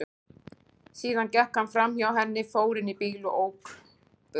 Síðan gekk hann framhjá henni, fór inn í bílinn og ók burt.